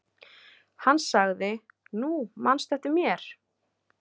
Hann sagði:-Nú, manstu eftir mér?